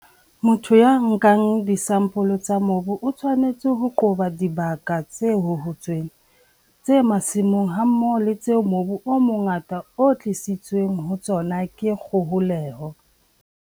Motho ya nkang disampole tsa mobu o tshwanetse ho qoba dibaka tse hohotsweng, tse masimong hammoho le tseo mobu o mongata o tlisitsweng ho tsona ke kgoholeho.